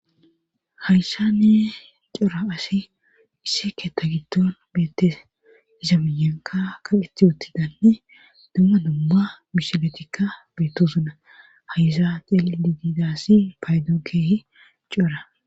hayssani cora asi issi keetta giddon beettes iza miyanka kaqeti uttidanne dumma dumma mishiletikka beettosona hayyza ceeli didiidaassi paydooy keehi cora